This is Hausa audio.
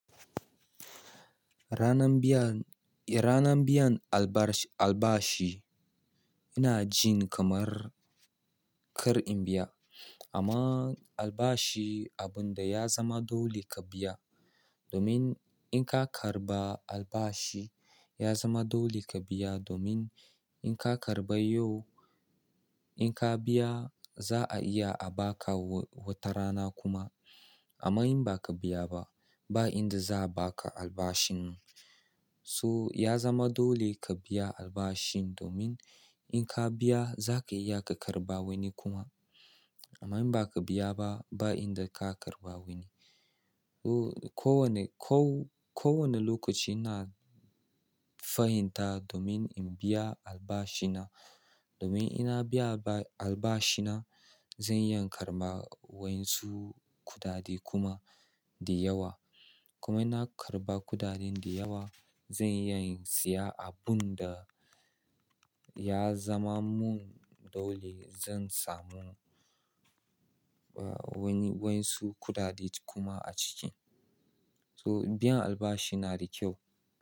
Ranan biyan, ranan biyan albashi ina cin kamar kar in biya. Amma albashi abun da ya zama dole ka biya domin in ka karɓa albashi ya zama dole ka biya domin in ka karɓa yau, in ka biya za a iya a ba ka wata rana kuma. Amma in ba ka biya ba, ba inda za a ba ka albashin. So ya zama dole ka biya albashin domin in ka biya za ka iya ka karɓa wani kuma. Amma in ba ka biya ba, ba inda ka karɓa wani. Oh ko wane, ko, ko wane lokaci ina fahimta domin in biya albashina. Domin ina biya alba, albashina zan iya karɓa wainzu kuɗaɗe kuma da yawa. Kuma ina karɓa kuɗaɗen da yawa zan iya siya abun da ya zama mun dole. Zan samu, ah wani, wainzu kuɗaɗe tu kuma a ciki. So biyan albashi na da kyau.